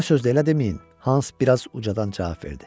Buna söz də elə deməyin, Hans biraz ucadan cavab verdi.